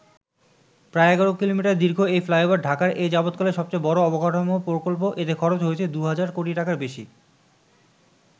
প্রায় ১১ কিলোমিটার দীর্ঘ এই ফ্লাইওভার ঢাকার এ যাবতকালের সবচেয়ে বড় অবকাঠামো প্রকল্প, এতে খরচ হয়েছে দুহাজার কোটি টাকার বেশি।